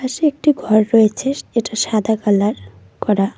পাশে একটি ঘর রয়েছে এটা সাদা কালার করা।